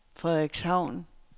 Frederikshavn